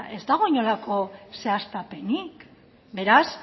ez dago inolako zehaztapenik beraz